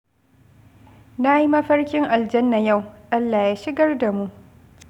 Na yi mafarkin aljanna yau, Allah ya shigar da mu